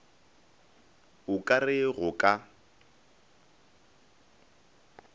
o ka re go ka